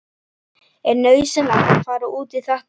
Er nauðsynlegt að fara út í þetta núna?